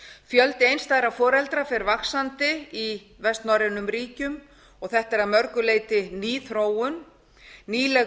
fjöldi einstæðra foreldra fer vaxandi í vestnorrænu ríkjunum þetta er að mörgu leyti ný þróun nýleg